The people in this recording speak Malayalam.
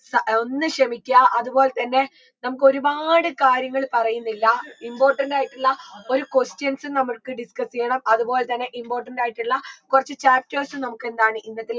സ അ ഒന്ന് ക്ഷമിക്യ അതുപോൽ തന്നെ നമുക്കൊരുപാട് കാര്യങ്ങൾ പറയുന്നില്ല important ആയിട്ടുള്ള ഒരു questions നമുക്ക് discuss യ്യണം അത്പോൽതന്നെ important ആയിട്ടുള്ള കൊർച്ച് chapters നമുക്കെന്താണ് ഇന്നത്തെ ഈ